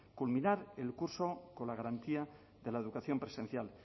culminar el curso con la garantía de la educación presencial